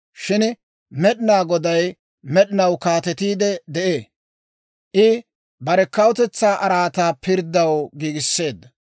Shin Med'inaa Goday med'inaw kaatetiide de'ee; I bare kawutetsaa araataa pirddaw giigisseedda.